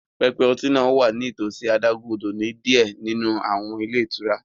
Pẹpẹ ọtí náà wà nítòsí adágún-odò ní diẹ ninu awọn ilé itúrá